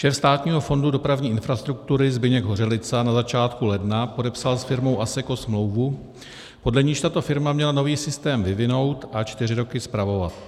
Šéf Státního fondu dopravní infrastruktury Zbyněk Hořelica na začátku ledna podepsal s firmou Asseco smlouvu, podle níž tato firma měla nový systém vyvinout a čtyři roky spravovat.